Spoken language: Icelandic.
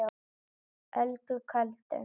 Öldu köldu